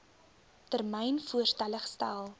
termyn voorstelle gestel